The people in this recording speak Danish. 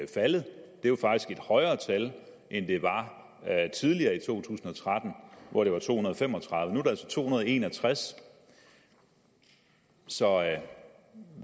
tal end det var tidligere i to tusind og tretten hvor det var to hundrede og fem og tredive nu er det altså to hundrede og en og tres så